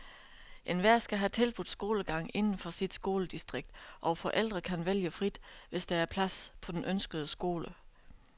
Enhver skal have tilbudt skolegang inden for sit skoledistrikt, og forældre kan vælge frit, hvis der er plads på den ønskede skole.